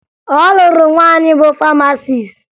Ọ lụrụ nwaanyị bụ famasis